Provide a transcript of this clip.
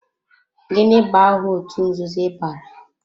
Gịnị bụ aha otú nzuzo ị bara?